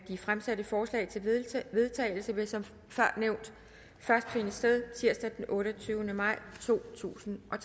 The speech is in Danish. de fremsatte forslag til vedtagelse vil som før nævnt først finde sted tirsdag den otteogtyvende maj totusinde og